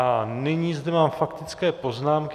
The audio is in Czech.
A nyní zde mám faktické poznámky.